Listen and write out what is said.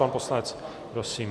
Pan poslanec, prosím.